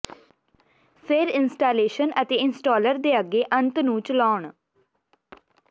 ਫਿਰ ਇੰਸਟਾਲੇਸ਼ਨ ਅਤੇ ਇੰਸਟਾਲਰ ਦੇ ਅੱਗੇ ਅੰਤ ਨੂੰ ਚਲਾਉਣ